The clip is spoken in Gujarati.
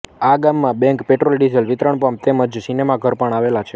આ ગામમાં બેંક પેટ્રોલડીઝલ વિતરણ પંપ તેમ જ સિનેમા ઘર પણ આવેલાં છે